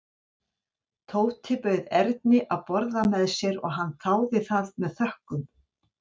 Tóti bauð Erni að borða með sér og hann þáði það með þökkum.